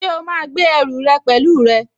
Ṣé o máa gbé ẹrù rẹ pẹ̀lú rẹ?